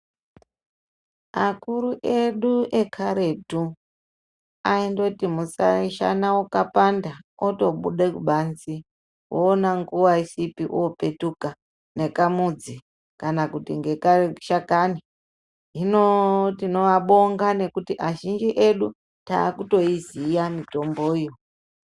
Akuru edu ekaretu, aindoti musa shana ukapanda, otobude kubanzi, woona nguwa isipi opetuka nekamudzi ,kana kuti ngekashakani. Hino tinoabonga nekuti azhinji edu, taakutoiziya mitomboyo.